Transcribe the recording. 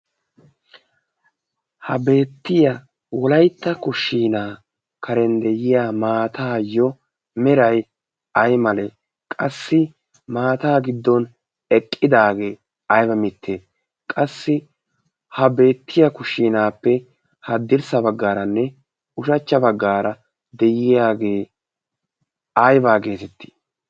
ha beettiya wolaitta kushshiinaa karen de'iya maataayyo meray ay male qassi maata giddon eqqidaagee ayba mitte qassi ha beettiya kushshiinaappe haddirssa baggaaranne ushachcha baggaara de'iyaagee aybaa geetetti?